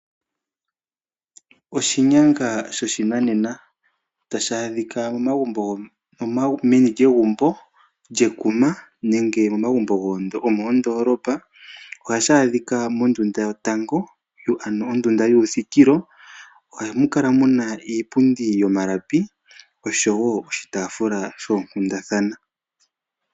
Oshinyanga shonanena ohashi adhika momagumbo go mondoolopa nenge momagumbo gomakuma. Ohashi adhika mondunda yotango ndjono hayi ithanwa ondunda yoluthikilo. Oha mu kala mu na omalapi osho woo oshitaafula shoonkundathana.